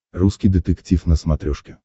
русский детектив на смотрешке